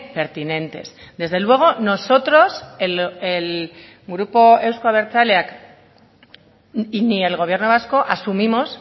pertinentes desde luego nosotros el grupo euzko abertzaleak y ni el gobierno vasco asumimos